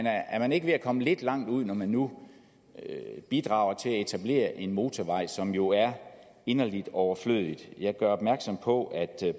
er er man ikke ved at komme lidt langt ud når man nu bidrager til at etablere en motorvej som jo er inderlig overflødig jeg gør opmærksom på at